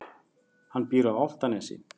Hann býr á Álftanesi.